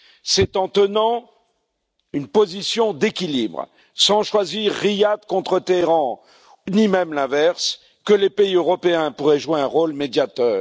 C'est en tenant une position d'équilibre, sans choisir Riyad contre Téhéran ni même l'inverse, que les pays européens pourraient jouer un rôle de médiateur.